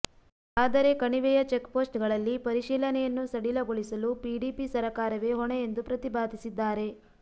ಆದರೆ ಕಣಿವೆಯ ಚೆಕ್ಪೋಸ್ಟ್ಗಳಲ್ಲಿ ಪರಿಶೀಲನೆಯನ್ನು ಸಡಿಲಗೊಳಿಸಲು ಪಿಡಿಪಿ ಸರಕಾರವೇ ಹೊಣೆ ಎಂದು ಪ್ರತಿಪಾದಿಸಿದ್ದಾರೆ